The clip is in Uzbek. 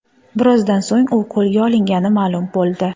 Birozdan so‘ng u qo‘lga olingani ma’lum bo‘ldi .